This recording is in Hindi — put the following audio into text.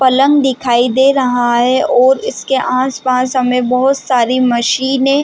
पलंग दिखाई दे रहा है और इसके आस-पास हमे बहुत सारी मशीने--